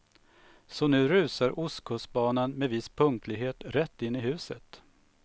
Så nu rusar ostkustbanan med viss punktlighet rätt in i huset.